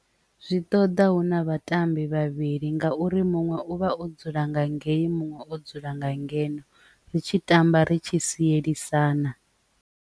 Zwi ṱoḓa huna vhatambi vhavhili ngauri muṅwe uvha o dzula nga ngei muṅwe o dzula nga ngeno ri tshi tamba ri tshi sielisana.